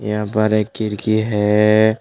यहां पर एक खिड़की है।